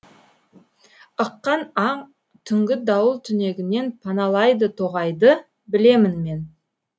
ыққан аң түнгі дауыл түнегінен паналайды тоғайды білемін мен